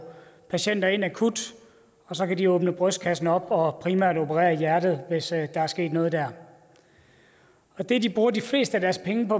patienter ind akut og så kan de åbne brystkassen og primært operere i hjertet hvis der er sket noget der det de bruger de fleste af deres penge på